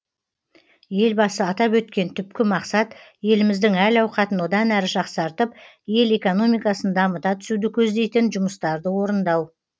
елбасы атап өткен түпкі мақсат еліміздің әл ауқатын одан әрі жақсартып ел экономикасын дамыта түсуді көздейтін жұмыстарды орындау